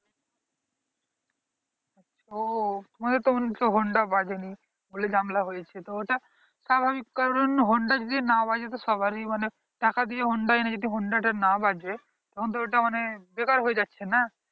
ওহ আমাদের তো মনে হচ্ছে honda বাজেনি বলে জামেলা হৈছে তো ওটা স্বাভাবিক কারণ honda যদি না বাজে তো সবাড়ির টাকা দিয়ে honda এনে যদি honda না বাজে তখনতো ওটা মানে বেকার হয় যাচ্ছে না